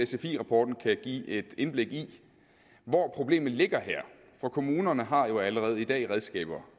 sfi rapporten kan give et indblik i hvor problemet ligger her for kommunerne har jo allerede i dag redskaber